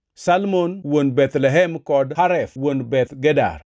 Salma wuon Bethlehem kod Haref wuon Beth Gader.